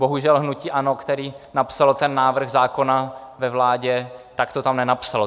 Bohužel hnutí ANO, které napsalo ten návrh zákona ve vládě, tak to tam nenapsalo.